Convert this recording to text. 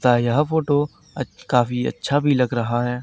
सा यह फोटो अच काफी अच्छा भी लग रहा है।